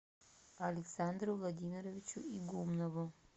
александру владимировичу игумнову